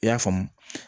I y'a faamu